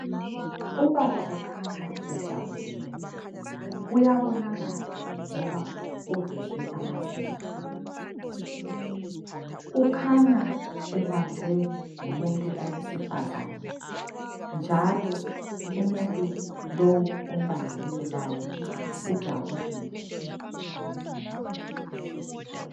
Ubaba ukhanya ejabulile. Kuyabonakala ngoba uveze amazinyo . Ukhanya ebanjwe ngumuntu owesifazane njalo umuntu lowu ombambileyo laye ujabulile.